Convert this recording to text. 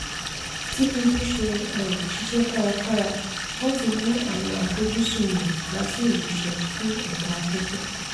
tinubu ṣe um ṣiṣẹ́ kárakára láti mú àwọn àfojúsùn rẹ̀ wá sí ìmúṣẹ fún ẹ̀ka afẹ́fẹ́.